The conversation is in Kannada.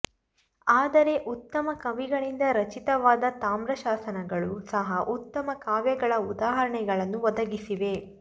ಆದರೆ ಉತ್ತಮ ಕವಿಗಳಿಂದ ರಚಿತವಾದ ತಾಮ್ರಶಾಸನಗಳೂ ಸಹ ಉತ್ತಮ ಕಾವ್ಯಗಳ ಉದಾಹರಣೆಗಳನ್ನು ಒದಗಿಸಿವೆ